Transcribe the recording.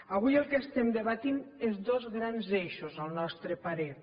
avui el que estem debatent són dos grans eixos al nostre parer